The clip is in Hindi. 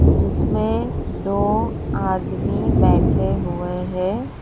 जिसमें दो आदमी बैठे हुए हैं।